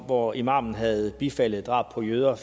hvor imamen havde bifaldet drab på jøder